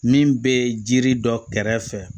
Min bɛ jiri dɔ kɛrɛfɛ